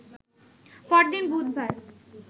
পরদিন বুধবার